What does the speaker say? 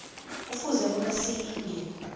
kufuze bona silinge